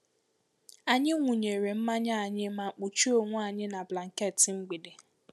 Anyi wunyere manya anyi ma kpuche onwe anyi na blanket mgbede.